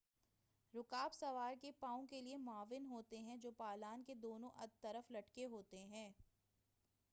رکاب سوار کے پاؤں کے لئے معاون ہوتے ہیں جو پالان کے دونوں طرف لٹکے ہوتے ہیں